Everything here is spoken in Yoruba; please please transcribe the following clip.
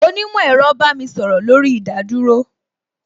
Onímò ẹ̀rọ bá mi sọ̀rọ̀ lórí ìdádúró